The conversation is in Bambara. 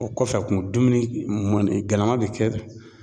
O kɔfɛ kun dumuni mɔnni galaman bɛ kɛ